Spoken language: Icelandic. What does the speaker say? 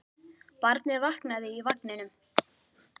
Barnið vaknaði í vagninum.